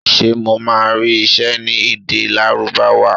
Ṣé mo máa rí iṣẹ́ ní èdè Lárúbáwá?